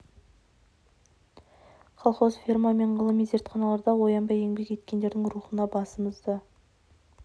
жанқиярлықпен ерлік көрсеткен тылда зауыт колхоз ферма мен ғылыми зертханаларда аянбай еңбек еткендердің рухына басымызды